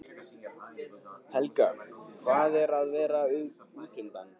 Helga: Hvað er að vera útundan?